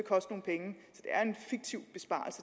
er en fiktiv besparelse